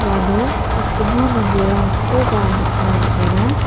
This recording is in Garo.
uano sakbonga manderangkoba nikna man·enga.